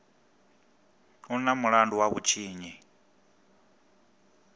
u na mulandu wa vhutshinyi